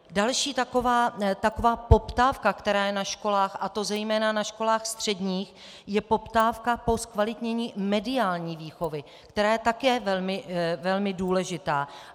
Další taková poptávka, která je na školách, a to zejména na školách středních, je poptávka po zkvalitnění mediální výchovy, která je také velmi důležitá.